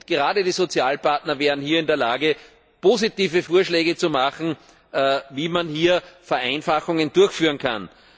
Gerade die Sozialpartner wären hier in der Lage, positive Vorschläge zu machen, wie man Vereinfachungen durchführen kann.